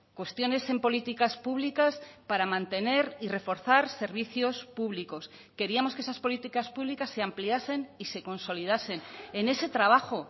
cuestiones en políticas públicas para mantener y reforzar servicios públicos queríamos que esas políticas públicas se ampliasen y se consolidasen en ese trabajo